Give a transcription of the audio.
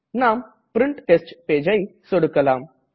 நாம் print test Pageஐ சொடுக்கலாம்